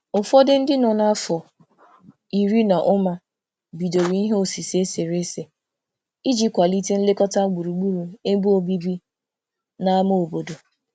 Ụfọdụ ndị nọ n'afọ iri na ụma bidoro ihe osise eserese iji kwalite nlekọta gburugburu ebe obibi n'ámá obodo.